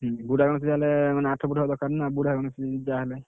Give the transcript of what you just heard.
ବୁଢା ଗଣେଶ ଯାହା ହେଲେ ମାନେ ଆଠ foot ହବ ଦରକାର ନା ବୁଢା ଗଣେଶ ଯାହା ହେଲେ।